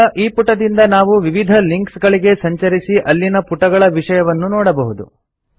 ಈಗ ಈ ಪುಟದಿಂದ ನಾವು ವಿವಿಧ ಲಿಂಕ್ಸ್ಗಳಿಗೆ ಸಂಚರಿಸಿ ಅಲ್ಲಿನ ಪುಟಗಳ ವಿಷಯವನ್ನು ನೋಡಬಹುದು